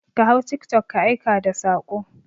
Ka hau tiktok ka aika da saƙo!